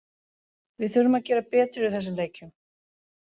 Við þurfum að gera betur í þessum leikjum.